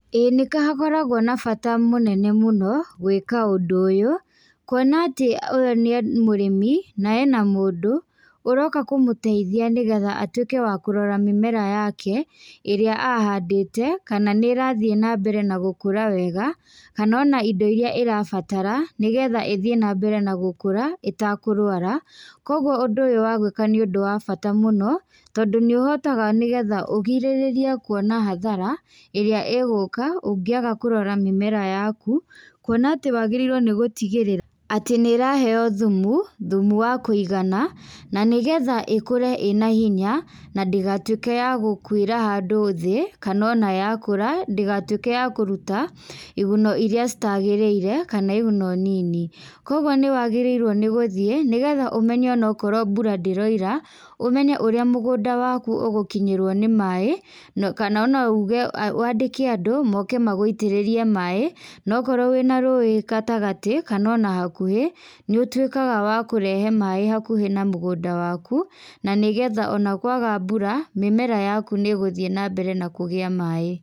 Ĩĩ nĩkahakoragwo na bata mũnene mũno, gwĩka ũndũ ũyũ, kuona atĩ, ũyũ nĩ mũrĩmi, na ena mũndũ, ũroka kũmũteithia nĩgetha atuĩke wa kũrora mĩmera yake, ĩrĩa ahandĩte, kana nĩrathiĩ nambere na gũkũra wega, kana ona indo iria ĩrabatara, nĩgetha ĩthiĩ nambere na gũkũra ĩtakũrwara, koguo ũndũ ũyũ wagwĩka nĩũndũ wa bata mũno, tondũ nĩũhotaga nĩgetha ũgirĩrĩrie kuona hathara, ĩrĩa igũka ũngĩaga kũrora mĩmera yaku, kuona atĩ wagĩrĩirwo nĩgũtigĩrĩra atĩ nĩraheo thumu, thumu wa kũigana, na nĩgetha ĩkũre ĩna hinya, nandĩgatuĩke ya gũkuĩra handũ thĩ, kana ona yakũra, ndĩgatuĩke ya kũruta, iguno iria citagĩrĩire kana iguno nini. Koguo nĩwagĩrĩirwo nĩgũthiĩ nigetha ũmenye onakorwo mbura ndĩroira, ũmenye ũrĩa mũgũnda waku ũgũkinyĩrwo nĩ maĩ, na kana ona uge, wandĩke andũ moke maguitĩrĩrie maĩ, nokorwo wĩna rũĩ gatagatĩ, kana ona hakuhĩ, nĩũtuĩkaga wa kũrehe maĩ hakuhĩ na mũgũnda waku, na nĩgetha ona kwaga mbura, mĩmera yaku nĩgũthiĩ nambere na kũgĩa maĩ.